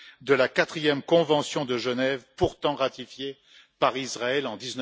de la quatrième convention de Genève, pourtant ratifiée par Israël en